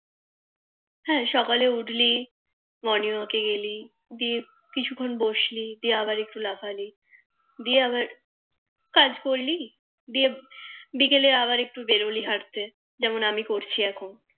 হ্যাঁ সকালে উঠলি Morning walk গেলি দিয়ে কিছু ক্ষণ বসলি দিয়ে আবার একটু লাফালি দিয়ে আবার কাজ করলি দিয়ে বিকেলে আবার একটু বেরোলি হাটতে যেমন আমি করছি